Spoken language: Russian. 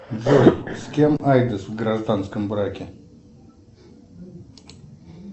джой с кем айдос в гражданском браке